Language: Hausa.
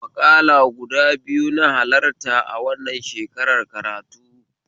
Maƙala gudu biyu na halarta a wannan shekarar karatu